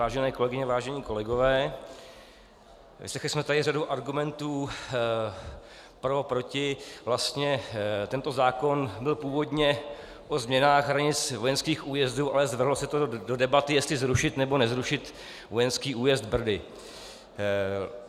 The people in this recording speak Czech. Vážené kolegyně, vážení kolegové, vyslechli jsme tady řadu argumentů pro a proti, vlastně tento zákon byl původně o změnách hranic vojenských újezdů, ale zvrhlo se to do debaty, jestli zrušit, nebo nezrušit vojenský újezd Brdy.